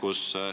Aitäh!